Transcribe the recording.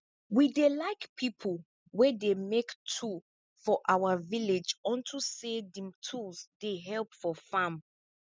we dey like people wey dey make tool for our village unto say di tools dey help for farm